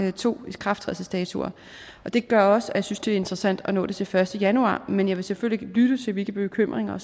er to ikrafttrædelsesdatoer og det gør også at vi synes det er interessant at nå det til den første januar men jeg vil selvfølgelig lytte til hvilke bekymringer